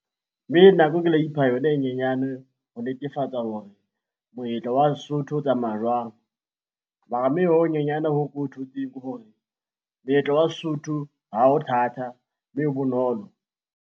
Nako e ke la ipha yona e nyenyane ho netefatsa hore moetlo wa Sesotho o tsamaya jwang. Mara ho honyenyane hoo ke o thotseng ke hore moetlo wa Sesotho ha ho thata, mme e bonolo.